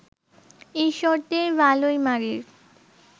ঈশ্বরদীর ভালুইমারির